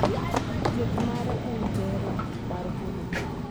Thieth mare en bero mar golo bur.